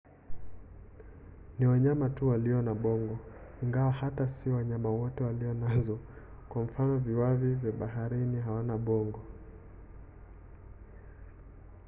ni wanyama tu walio na bongo ingawa hata si wanyama wote walio nazo; kwa mfano viwavi wa baharini hawana bongo